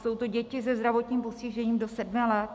Jsou to děti se zdravotním postižením do sedmi let.